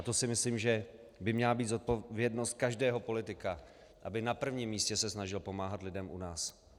A to si myslím, že by měla být zodpovědnost každého politika, aby na prvním místě se snažil pomáhat lidem u nás.